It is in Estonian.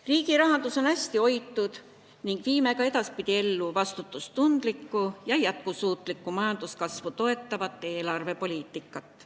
Riigi rahandus on hästi hoitud ning viime ka edaspidi ellu vastutustundlikku ja jätkusuutlikku majanduskasvu toetavat eelarvepoliitikat.